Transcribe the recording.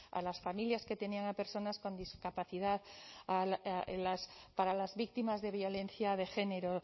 a las familias que tenían a personas con discapacidad para las víctimas de violencia de género